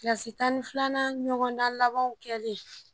tan ni filanan ɲɔgɔndan labanw kɛlen